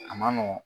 A ma nɔgɔn